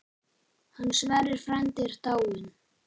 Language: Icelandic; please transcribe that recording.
Hann Sverrir frændi er dáinn.